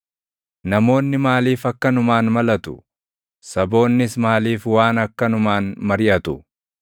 Namoonni maaliif akkanumaan malatu? Saboonnis maaliif waan akkanumaan mariʼatu?